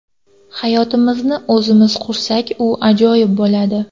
Hayotimizni o‘zimiz qursak, u ajoyib bo‘ladi.